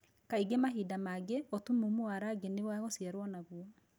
Kaingĩ mahinda mangĩ, ũtumumu wa rangi nĩ wagũciarwo naguo.